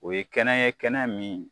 O ye kɛnɛ ye kɛnɛ min